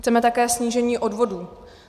Chceme také snížení odvodů.